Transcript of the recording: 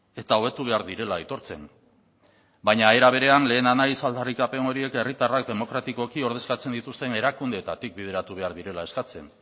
eta hobetu behar direla aitortzen baina era berean lehena naiz aldarrikapen horiek herritarrak demokratikoki ordezkatzen dituzten erakundeetatik bideratu behar direla eskatzen